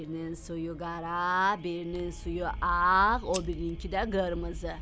Birinin suyu qara, birinin suyu ağ, o birininkı də qırmızı.